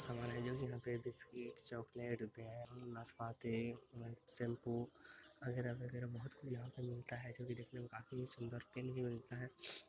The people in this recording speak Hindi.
सामान है जो की यहाँ पे बिस्कुट चॉकलेट ब्रेड नाशपाती शैम्पू अगेरा-वगेरा बहुत कुछ यहाँ पे मिलता है जो की देखने में काफी सुंदर पेन भी मिलता है।